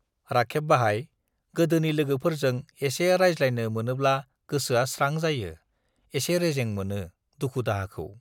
राखेब बाहाइ, गोदोनि लोगोफोरजों एसे रायज्लायनो मोनोब्ला गोसोआ स्रां जायो, एसे रेजें मोनो, दुखु-दाहाखौ